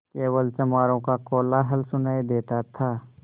केवल चमारों का कोलाहल सुनायी देता था